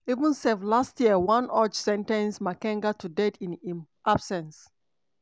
even sef last year one udge sen ten ce makenga to death in im absence.